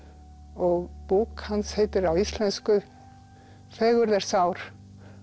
og bók hans heitir á íslensku fegurð er sár